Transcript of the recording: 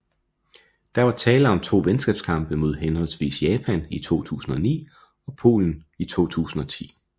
Der var tale om to venskabskampe mod henholdsvis Japan i 2009 og Polen i 2010